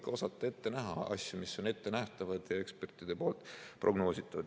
Tuleb ikka osata ette näha asju, mis on ettenähtavad ja ekspertide poolt prognoositavad.